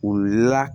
U la